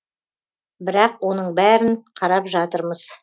бірақ оның бәрін қарап жатырмыз